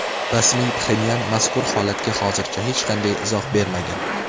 Rasmiy Pxenyan mazkur holatga hozircha hech qanday izoh bermagan.